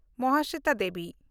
Mahasweta Devi